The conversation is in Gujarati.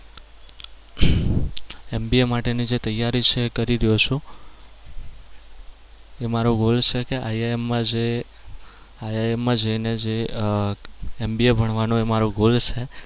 MBA માટેની જે તૈયારી જે છે એ કરી રહ્યો છું. મારો goal છે કે IIM માં જેને જે અમ MBA ભણવાનો એ મારો goal છે.